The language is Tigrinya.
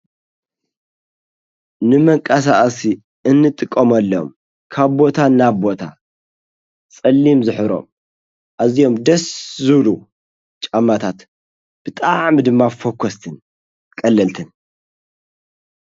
ንመንቀሳቀሲ እንጥቀመሎም ካብቦታ እናቦታ ጸሊም ዘሕብሮም ኣዚዮም ደስ ዝብሉ ጫማታት ብጣዕሚ ድማ ፈኮስትን ቀለልትን።